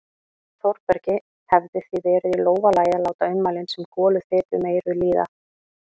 Þórbergi hefði því verið í lófa lagið að láta ummælin sem goluþyt um eyrun líða.